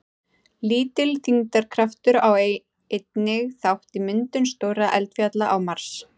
Lítill þyngdarkraftur á einnig þátt í myndum stórra eldfjalla á Mars.